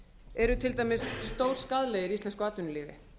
eru til dæmis stórskaðlegir íslensku atvinnulífi